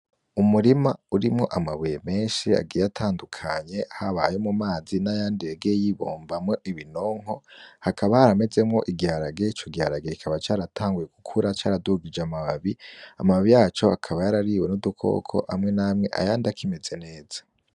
Umurima urimwo amabuye menshi agiye atandukanye , haba ayo mu mazi nayandi yagiye yibumbamwo ibinonko .Hakaba haramezemwo igiharage ico giharage kikaba caratanguye gukura caradugij'amababi , amababi yaco akaba yarariwe n'udukoko amwe namwe ayandi akimeze neza.